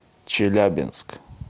челябинск